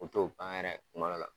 U t'o ban yɛrɛ kuma dɔw la.